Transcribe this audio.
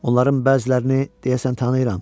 Onların bəzilərini deyəsən tanıyıram.